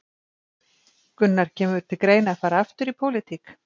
Gunnar: Kemur til greina að fara aftur í pólitík?